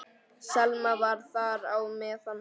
Selma var þar á meðal.